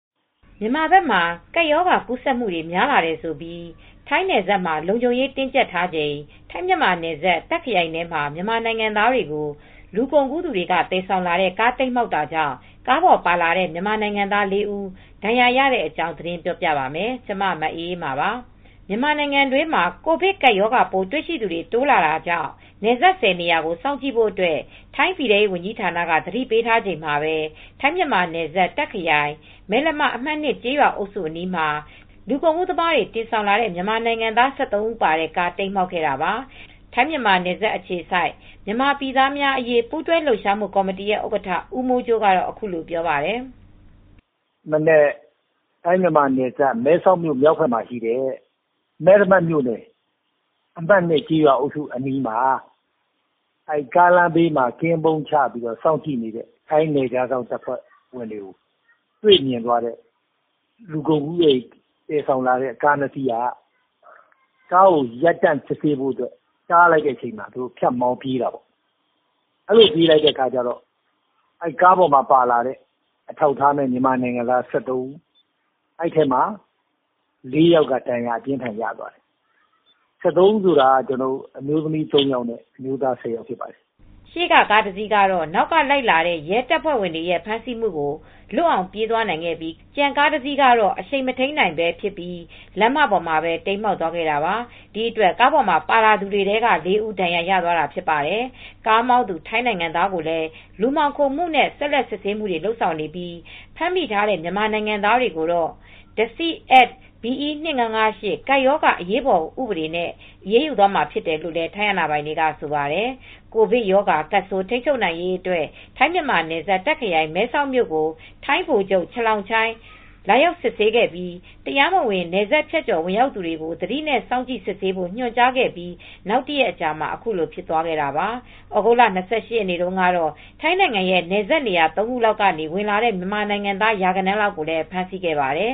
မြန်မာဘက်မှာ ကပ်ရောဂါကူးဆက်မှုတွေ များလာတယ်ဆိုပြီး ထိုင်းနယ်စပ်တွေမှာ လုံခြုံရေး တင်းကျပ်ချိန် ထိုင်း-မြန်မာနယ်စပ် တာခ့်ခရိုင်ထဲမှာ မြန်မာနိုင်ငံသားတွေကို လူကုန်ကူးသူတွေ သယ်ဆောင်လာတဲ့ကား တိမ်းမှောက်တာကြောင့် ကားပေါ်ပါလာတဲ့ မြန်မာနိုင်ငံသား ၄ ဦး ဒဏ်ရာရသွားပါတယ်။ အပြည့်အစုံကို ထိုင်းအခြေစိုက် ဗွီအိုအေ မြန်မာပိုင်း သတင်းထောက် မအေးအေးမာ တင်ပြပေးထားပါတယ်။ မြန်မာနိုင်ငံတွင်းမှာ ကိုဗစ်ကပ်ရောဂါပိုး တွေ့ရှိသူတွေ တိုးလာတာကြောင့် နယ်စပ် ၁၀ နေရာကို စောင့်ကြည့်ဖို့အတွက် ထိုင်းပြည်ထဲရေးဝန်ကြီးဌာနကနေ သတိပေးထားချိန်မှာပဲ ထိုင်း-မြန်မာနယ်စပ် တာခ့်ခရိုင် မယ်လမ အမှတ် ၂ ကျေးရွာအုပ်စုအနီးမှာ လူကုန်ကူးသမားတွေ တင်ဆောင်လာတဲ့ မြန်မာနိုင်ငံသား ၁၃ ဦးပါတဲ့ကား တိမ်းမှောက်ခဲ့တာပါ။ ထိုင်း-မြန်မာနယ်စပ်အခြေစိုက် မြန်မာပြည်သားများအရေး ပူးတွဲလှုပ်ရှားမှုကော်မတီ ဥက္ကဋ္ဌ ဦးမိုးကြိုးကတော့ အခုလိုပြောပြပါတယ်။ “ဒီမနက် ထိုင်း-မြန်မာနယ်စပ် မဲဆောက်မြို့ မြောက်ဘက်မှာရှိတဲ့ မယ်လမမြို့နယ် အမှတ် ၂ ကျေးရွာအုပ်စုအနီးမှာ ကားလမ်းဘေး ကင်းပုန်းချ စောင့်ကြည့်စစ်ဆေးနေတဲ့ နယ်ခြားစောင့်အဖွဲ့တွေကို တွေ့မြင်သွားတဲ့ လူကုန်ကူးပြီး သယ်ဆောင်လာတဲ့ကား ၂ စီးက ဖြတ်မောင်းပြေးတော့ ကားပေါ်မှာပါတဲ့ ၁၃ ယောက်ထဲက ၄ ယောက်က ဒဏ်ရာပြင်းထန်စွာ ရသွားတယ်။ ၁၃ ဦးဆိုတာ အမျိုးသမီး ၃ ဦး၊ အမျိုးသား ၁၀ဦး ဖြစ်ပါတယ်။” ရှေ့ကကားတစီးကတော့ နောက်ကလိုက်လာတဲ့ ရဲတပ်ဖွဲ့ဝင်တွေရဲ့ ဖမ်းဆီးမှုကို လွတ်အောင်မောင်းပြေးသွားခဲ့ပြီး ကျန်ကားတစီးကတော့ အရှိန်မထိန်းနိုင်ဖြစ်ပြီး လမ်းမပေါ်မှာ တိမ်းမှောက်သွားခဲ့တာပါ။ ဒီအတွက် ကားပေါ်မှာ ပါလာသူတွေထဲက ၄ ဦး ဒဏ်ရာရသွားတာ ဖြစ်ပါတယ်။ ကားမောင်းသူ ထိုင်းနိုင်ငံသားကိုလည်း လူမှောင်ခိုမှုနဲ့ ဆက်လက်စစ်ဆေးမှုတွေ လုပ်ဆောင်နေပြီး ဖမ်းမိထားတဲ့ မြန်မာနိုင်ငံသားတွေကိုတော့ Disease Act B.E. 2558 ကပ်ရောဂါ အရေးပေါ်ဥပဒေနဲ့ အရေးယူသွားမှာဖြစ်တယ်လို့ ထိုင်းအာဏာပိုင်တွေက ဆိုပါတယ်။ ကိုဗစ်ရောဂါကပ်ဆိုး ထိန်းချုပ်နိုင်ရေးအတွက် ထိုင်း-မြန်မာနယ်စပ် တာ့ခ်ခရိုင် မဲဆောက်မြို့ကို ထိုင်းဗိုလ်ချုပ် Chalongchai Chaiyakham လာရောက်စစ်ဆေးခဲ့ပြီး တရားမဝင် နယ်စပ်ဖြတ်ကျော် ဝင်ရောက်လာသူတွေကို သတိနဲ့ စောင့်ကြည့်စစ်ဆေးဖို့ ညွှန်ကြားခဲ့ပြီး နောက်တရက်အကြာမှာ ခုလိုဖြစ်ပွားခဲ့တာပါ။ သြဂုတ်လ ၂၈ ရက်နေ့ကတော့ ထိုင်းနိုင်ငံရဲ့ နယ်စပ်နေရာ ၃ ခုလောက်ကနေ ဝင်လာတဲ့ မြန်မာအလုပ်သမား ရာဂဏန်းလောက်ကိုလည်း ဖမ်းဆီးခဲ့ပါတယ်